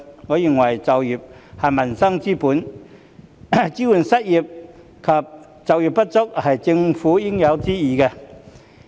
我認為就業是民生之本，支援失業及就業不足人士是政府應有之義。